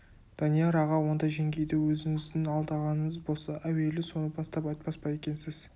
данияр аға онда жеңгейді өзіңіздің алдағаныңыз болса әуелі соны бастап айтпас па екенсіз